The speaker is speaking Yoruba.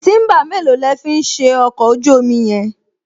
Tíḿbà mélòó lẹ̀ ń fi ṣe ọkọ̀ ojú-omi yẹn?